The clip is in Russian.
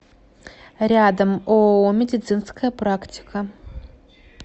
рядом ооо медицинская практика